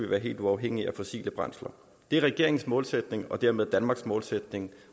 være helt uafhængige af fossile brændsler det er regeringens målsætning og dermed danmarks målsætning